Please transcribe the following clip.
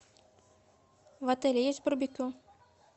в отеле есть барбекю